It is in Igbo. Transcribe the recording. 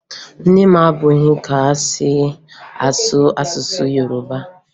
Nne m maburu ka e si asụ asụsụ Yoroba